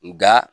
Nka